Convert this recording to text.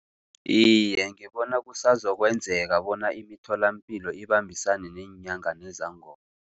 Iye, ngibona kusazokwenzaka bona imitholapilo ibambisane neenyanga nezangoma.